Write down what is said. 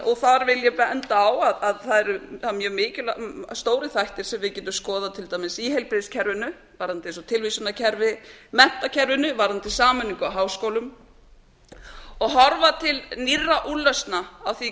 og þar vil ég benda á að það eru mjög stórir þættir sem við getum skoðað til dæmis í tilvísunarkerfi svo sem eins og tilvísunarkerfi í menntakerfinu varðandi sameiningu á háskólum og horfa til nýrra úrlausna á því